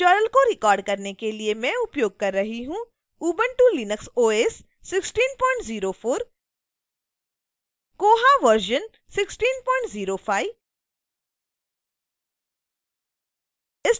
इस tutorial को record करने के लिए मैं उपयोग कर रही हूँ